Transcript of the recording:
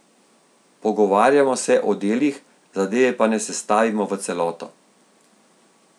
Pogovarjamo se o delih, zadeve pa ne sestavimo v celoto.